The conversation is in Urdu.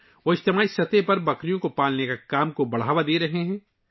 وہ کمیونٹی کی سطح پر بکری پالنے کو فروغ دے رہے ہیں